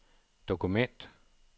dokument